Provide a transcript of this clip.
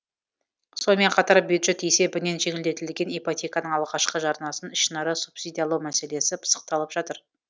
сонымен қатар бюджет есебінен жеңілдетілген ипотеканың алғашқы жарнасын ішінара субсидиялау мәселесі пысықталып жатыр